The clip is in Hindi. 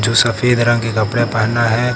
सफेद रंग के कपड़े पहना है।